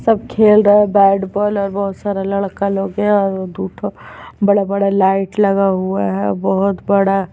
सब खेल रहा है बैट बॉल और बहोत सारा लड़का लोग है और दू ठो बड़ा-बड़ा लाइट लगा हुआ है और बहोत बड़ा--